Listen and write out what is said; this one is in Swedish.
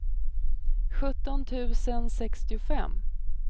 sjutton tusen sextiofem